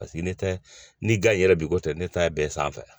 Paseke ne ta ni gan yɛrɛ bi ko tɛ ne ta ye bɛɛ sanfɛ